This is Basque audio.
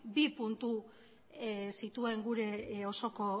bi puntu zituen gure osoko